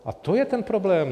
A to je ten problém.